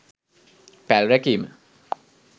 පැල් රැකීම